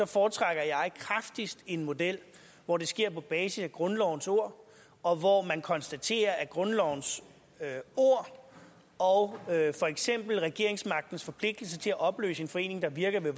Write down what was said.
foretrækker en model hvor det sker på basis af grundlovens ord og hvor man konstaterer at grundlovens ord og for eksempel regeringsmagtens forpligtelse til at opløse en forening der virker ved